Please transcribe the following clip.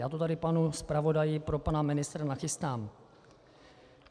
Já to tady panu zpravodaji pro pana ministra nachystám.